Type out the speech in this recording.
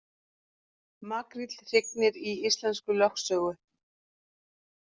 Makríll hrygnir í íslenskri lögsögu